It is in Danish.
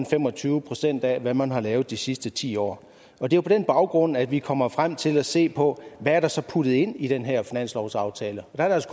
fem og tyve procent af hvad man har lavet de sidste ti år år det er på den baggrund at vi kommer frem til at se på hvad der så er puttet ind i den her finanslovsaftale og der er